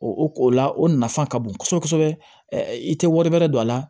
O ko la o nafa ka bon kosɛbɛ kosɛbɛ i tɛ wari bɛrɛ don a la